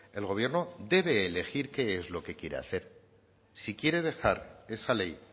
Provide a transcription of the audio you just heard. el gobierno debe elegir qué es lo que quiere hacer si quiere dejar esa ley